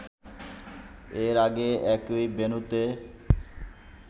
এর আগে একই ভেন্যুতে